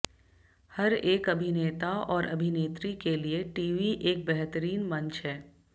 हर एक अभिनेता और अभिनेत्री के लिए टीवी एक बेहतरीन मंच है